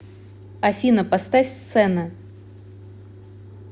афина поставь сцена